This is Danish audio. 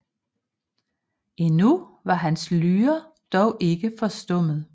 Endnu var hans Lyre dog ikke forstummet